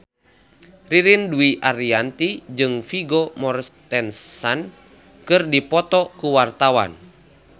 Ririn Dwi Ariyanti jeung Vigo Mortensen keur dipoto ku wartawan